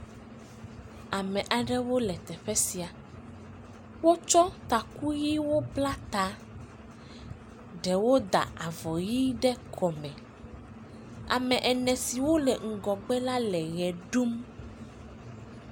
ame aɖewo le teƒɛ sia wótsɔ takuyiwo bla ta ɖewo ta avɔ yi ɖe kɔme ame ene siwó le ŋgɔgbe la le we ɖuu